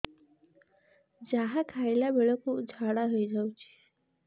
ଯାହା ଖାଇଲା ବେଳକୁ ଝାଡ଼ା ହୋଇ ଯାଉଛି